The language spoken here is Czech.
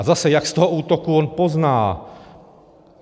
A zase, jak z toho útoku on pozná?